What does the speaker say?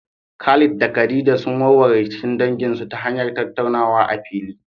Khalid da Khadija sun warware rikicin danginsu ta hanyar tattaunawa a fili.